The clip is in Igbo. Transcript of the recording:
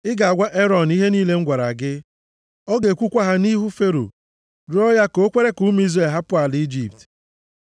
Ị ga-agwa Erọn ihe niile m gwara gị. Ọ ga-ekwukwa ha nʼihu Fero, rịọọ ya ka o kwere ka ụmụ Izrel hapụ ala Ijipt.